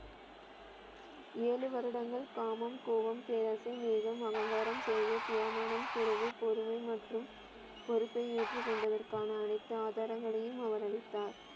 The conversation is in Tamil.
ஏழு வருடங்கள் காமம், கோவம், பேராசை, மேகம், அகங்காரம், சேவை, பியமானம், சுரகு, பொறுமை மற்றும் பொறுப்பை ஏற்றுக்கொண்டதற்கான அனைத்து ஆதாரங்களையும் அவர் அளித்தார்.